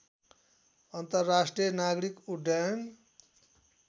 अन्तर्राष्ट्रिय नागरिक उड्डयन